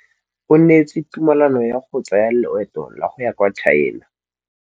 O neetswe tumalanô ya go tsaya loetô la go ya kwa China.